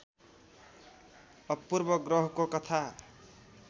अपूर्व ग्रहको कथा